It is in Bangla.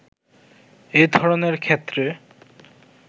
এ ধরণের ক্ষেত্রে